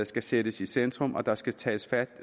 skal sættes i centrum og der skal tages fat